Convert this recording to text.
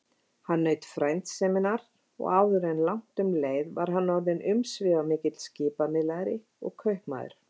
Hann naut frændseminnar og áður langt um leið var hann orðinn umsvifamikill skipamiðlari og kaupmaður.